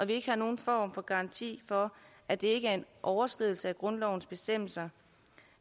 ikke har nogen form for garanti for at det ikke er en overskridelse af grundlovens bestemmelser